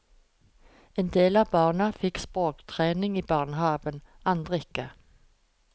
En del av barna fikk språktrening i barnehaven, andre ikke.